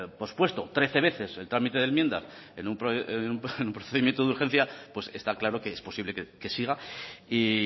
pospuesto trece veces el trámite de enmiendas en un procedimiento de urgencia pues está claro que es posible que siga y